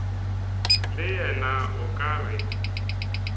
le yena o ka re